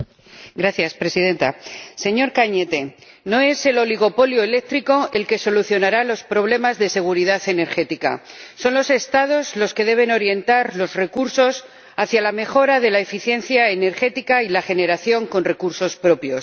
Señora Presidenta señor Cañete, no es el oligopolio eléctrico el que solucionará los problemas de seguridad energética son los Estados los que deben orientar los recursos hacia la mejora de la eficiencia energética y la generación con recursos propios.